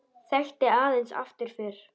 Þekkti aðeins afturför.